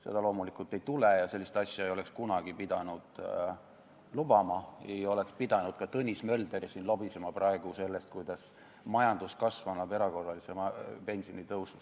Seda loomulikult ei tule ja sellist asja ei oleks kunagi pidanud lubama, ei oleks pidanud ka Tõnis Mölder siin lobisema praegu sellest, kuidas majanduskasv annab erakorralise pensionitõusu.